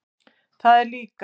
Það er líka.